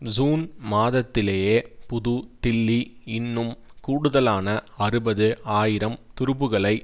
June மாதத்திலேயே புது தில்லி இன்னும் கூடுதலான அறுபது ஆயிரம் துருப்புகளை